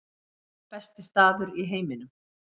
Besti staður í heiminum